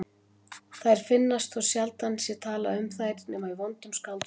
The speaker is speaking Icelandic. Þær finnast þótt sjaldan sé talað um þær nema í vondum skáldsögum.